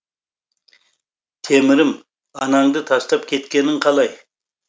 темірім анаңды тастап кеткенің қалай